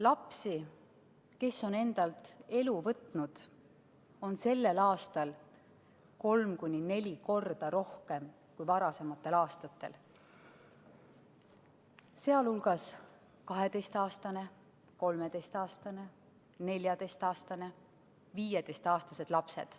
Lapsi, kes on endalt elu võtnud, on sellel aastal kolm kuni neli korda rohkem kui varasematel aastatel, sh 12‑aastane, 13‑aastane, 14‑aastane ja 15‑aastased lapsed.